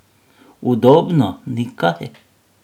Udobno, ni kaj!